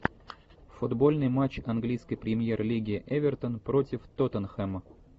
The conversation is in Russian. футбольный матч английской премьер лиги эвертон против тоттенхэма